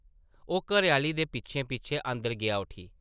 ओह् घरै-आह्ली दे पिच्छें-पिच्छें अंदर गेआ उठी ।